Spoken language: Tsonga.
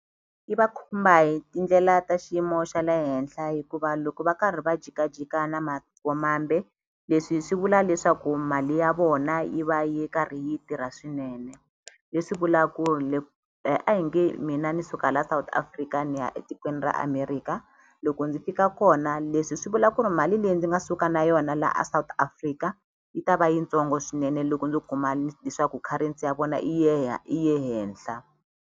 Yi va khumba hi tindlela ta xiyimo xa le henhla hikuva loko va karhi va jikajika na mambe leswi swi vula leswaku mali ya vona yi va yi karhi yi tirha swinene leswi vulaku a hi nge mina ni suka la South Africa ni ya etikweni ra America loko ndzi fika kona leswi swi vula ku ri mali leyi ndzi nga suka na yona laha a South Africa yi ta va yitsongo swinene loko ndzi kuma ku currency ya vona yi ye yi ye henhla.